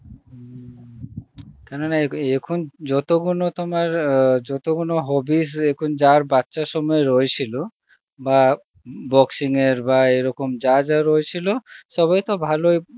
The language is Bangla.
উম কেন না এ~ এখন যত গুণ তোমার আ যত গুণ hobbies এখন যার বাচ্চার সময় রয়েছিল বা boxing এর বা এরকম যার যা রয়েছিল সবাই তো ভালই